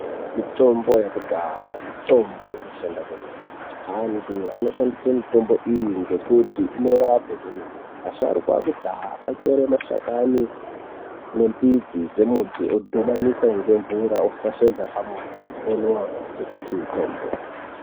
Mitombo yekudhaya mitombo inoshanda kwemene. Antu anoshandise mitombo iyi ngekuti inorape kwemene. Vasharuka vekudhaya vaitore mashakani nemidzi dzemiti odhubanisa ngemvura ofashaidza pamoto onwa ngekuti mutombo.